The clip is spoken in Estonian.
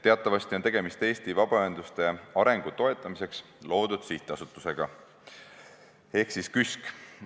Teatavasti on tegemist Eesti vabaühenduste arengu toetamiseks loodud sihtasutusega ehk KÜSK-iga.